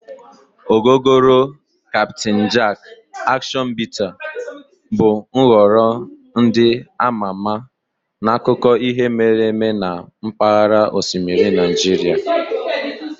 Ogogoro, Captain Jack, Action Bitter bụ nhọrọ ndị ama ama n'akụkọ ihe mere eme na mpaghara osimiri Nigeria.